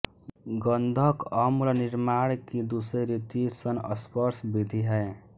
गन्धक अम्ल निर्माण की दूसरे रीति संस्पर्श विधि है